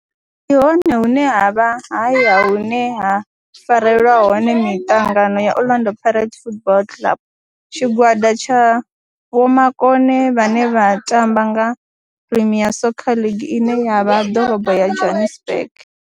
Ndi hone hune havha haya hune ha farelwa hone mitangano ya Orlando Pirates Football Club. Tshigwada tsha vhomakone vhane vha tamba nga Premier Soccer League ine ya vha Dorobo ya Johannesburg.